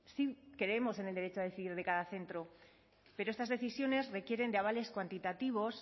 sí creemos en el derecho a decidir de cada centro pero estas decisiones requieren de avales cuantitativos